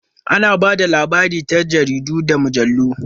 Ana ba da labari ta jaridu da mujallu.